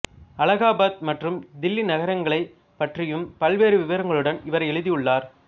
அலகாபாத் மற்றும் தில்லி நகரங்களை பற்றியும் பல்வேறு விவரங்களுடன் இவர் எழுதியுள்ளார்